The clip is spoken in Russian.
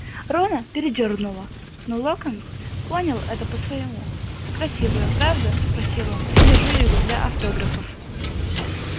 рона передёрнуло но локонс понял это по-своему красивое правда спросил он я держу его для автографов